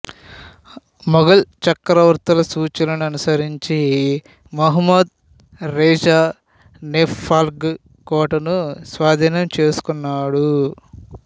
ముగల్ చక్రవర్తుల సూచనలను అనుసరించి మొహమ్మద్ రేజా నేపాల్గర్ కోటను స్వాధీనం చేసుకున్నాడు